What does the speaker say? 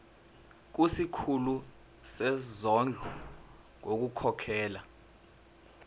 kusikhulu sezondlo ngokukhokhela